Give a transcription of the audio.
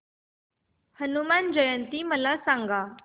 हनुमान जयंती मला सांगा